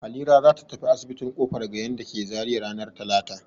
Halira za ta tafi asibitin Kofar Gayan da ke Zariya ranar talata.